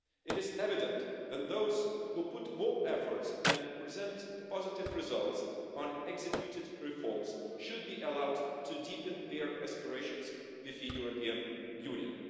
It is evident that those who put more efforts and present positive results on reforms carried out should be allowed to deepen their aspirations with the European Union.